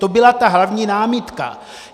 To byla ta hlavní námitka.